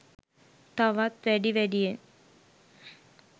තවත් වැඩි වැඩියෙන්